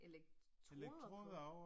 Elektroder på